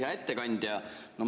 Hea ettekandja!